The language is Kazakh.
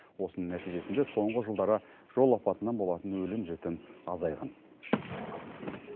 осының нәтижесінде соңғы жылдары жол апатынан болатын өлім жітім азайған